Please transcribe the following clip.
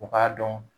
U k'a dɔn